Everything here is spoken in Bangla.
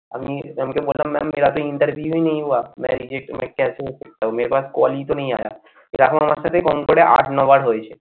আমি mam কে বললাম mam मेरा तो interview नहीं हुआ मैं reject मैं क्या से reject हो गया मेरे पास call ई तो नहीं आया এরকম আমার সাথে কম করে আট নবার হয়েছে।